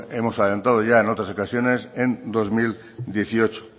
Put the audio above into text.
hemos adelantado ya en otras declaraciones en dos mil dieciocho